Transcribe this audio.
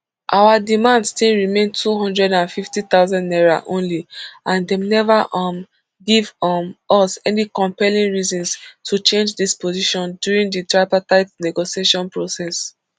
our demand still remain two hundred and fifty thousand naira only and dem neva um give um us any compelling reasons to change dis position during di tripartite negotiation process